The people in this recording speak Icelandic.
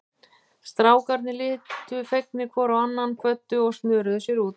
Strákarnir litu fegnir hvor á annan, kvöddu og snöruðu sér út.